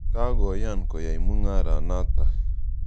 Kakoyan koyai mung'ara natak.